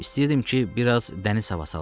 İstəyirdim ki, bir az dəniz havası alam.